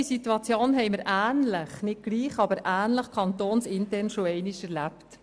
Diese Situation haben wir kantonsintern nicht gleich, aber so ähnlich bereits einmal erlebt.